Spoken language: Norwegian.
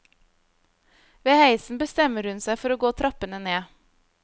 Ved heisen bestemmer hun seg for å gå trappene ned.